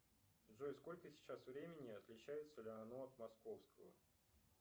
джой сколько сейчас времени и отличается ли оно от московского